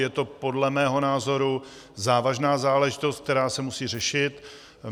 Je to podle mého názoru závažná záležitost, která se musí řešit.